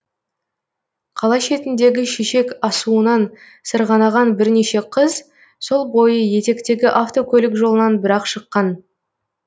қала шетіндегі шешек асуынан сырғанаған бірнеше қыз сол бойы етектегі автокөлік жолынан бір ақ шыққан